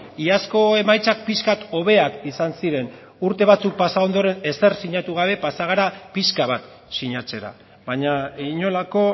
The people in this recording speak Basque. iazko emaitzak pixkat hobeak izan ziren urte batzuk pasa ondoren ezer sinatu gabe pasa gara pixka bat sinatzera baina inolako